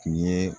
Tun ye